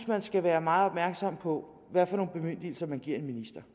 man skal være meget opmærksom på hvad for nogle bemyndigelser man giver en minister